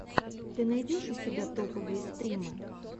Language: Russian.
ты найдешь у себя топовые стримы